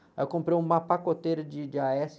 Aí eu comprei uma pacoteira de, de á-ésse